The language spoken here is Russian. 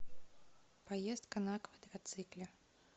поездка на квадроцикле